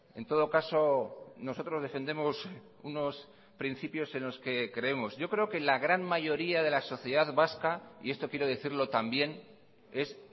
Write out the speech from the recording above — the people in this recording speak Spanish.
en todo caso nosotros defendemos unos principios en los que creemos yo creo que la gran mayoría de la sociedad vasca y esto quiero decirlo también es